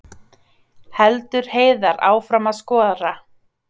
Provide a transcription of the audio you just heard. Heldur Heiðar áfram að skora